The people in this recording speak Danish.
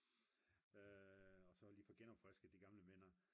og så lige få genopfrisket de gamle minder